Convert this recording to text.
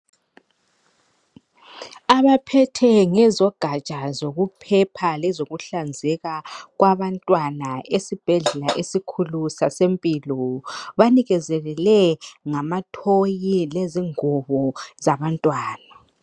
Abaphethe ngezogatsha zokuphepha lezokuhlanzeka kwabantwana esibhedlela esikhulu sasempilo banikezelelwe ngamathoyi lezingubo zabantwana